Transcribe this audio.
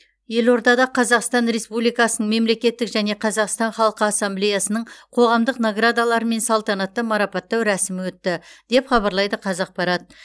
елордада қазақстан республикасының мемлекеттік және қазақстан халқы ассамблеясының қоғамдық наградаларымен салтанатты марапаттау рәсімі өтті деп хабарлайды қазақпарат